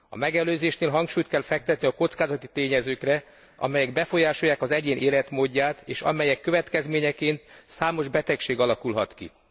A megelőzésnél hangsúlyt kell fektetni a kockázati tényezőkre, amelyek befolyásolják az egyén életmódját, és amelyek következményeként számos betegség alakulhat ki.